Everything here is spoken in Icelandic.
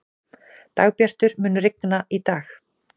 Dagbjartur, mun rigna í dag?